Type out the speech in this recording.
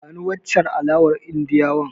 Bani wancen alawar Indiyawan.